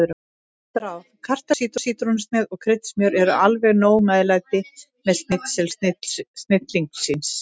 Gott ráð: Kartöflur, sítrónusneið og kryddsmjör eru alveg nóg meðlæti með snitseli snillingsins.